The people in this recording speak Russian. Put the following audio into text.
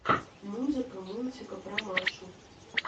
музыка мультика про машу